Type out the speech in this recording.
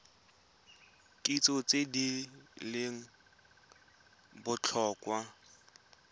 kitso tse di leng botlhokwa